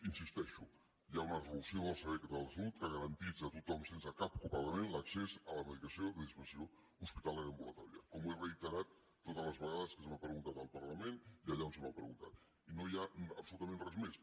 hi insisteixo hi ha una resolució del servei català de la salut que garanteix a tothom sense cap copagament l’accés a la medicació de dispensació hospitalària ambulatòria com ho he reiterat totes les vegades que se m’ha preguntat al parlament i allà on se m’ha preguntat i no hi ha absolutament res més